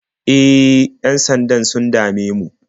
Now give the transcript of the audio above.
E, yan-sandan sun dame mu.